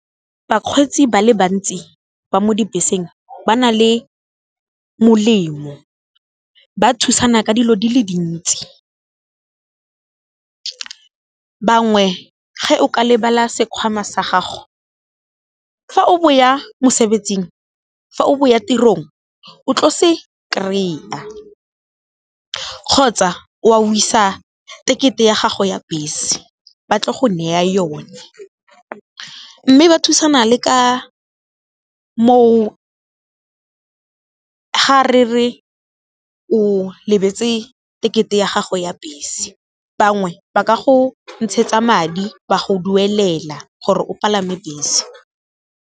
Bakgweetsi ba le bantsi ba mo dibeseng ba na le molemo, ba thusana ka dilo di le dintsi. Bangwe ge o ka lebala sekhwama sa gago fa o bo ya tirong o tlo se kry-a, kgotsa wa wesa tekete ya gago ya bese ba tla go neya yone, mme ba thusana le ka moo ga re re o lebetse tekete ya gago ya bese, bangwe ba ka go ntshetsa madi ba go duelela gore o palame bese.